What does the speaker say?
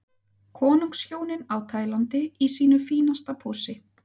Konungshjónin á Tælandi í sínu fínasta pússi.